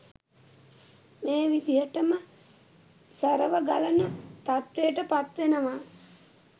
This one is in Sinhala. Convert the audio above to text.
මේ විදිහටම සැරව ගලන තත්වයට පත්වෙනවා